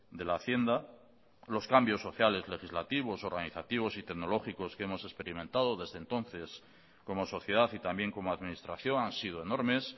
de la hacienda los cambios sociales legislativos organizativos y tecnológicos que hemos experimentado desde entonces como sociedad y también como administración han sido enormes